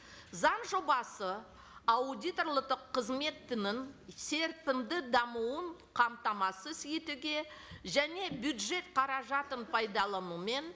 заң жобасы қызметінің серпінді дамуын қамтамасыз етуге және бюджет қаражатын пайдаланумен